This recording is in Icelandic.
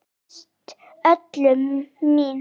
Þú bregst öllum mín